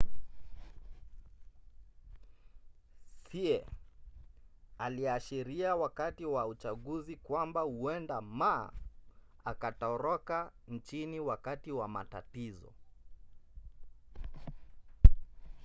hsieh aliashiria wakati wa uchaguzi kwamba huenda ma akatoroka nchini wakati wa matatizo